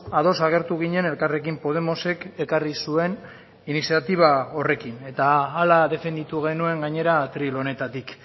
ados agertu ginen elkarrekin podemosek ekarri zuen iniziatiba horrekin eta hala defenditu genuen gainera atril honetatik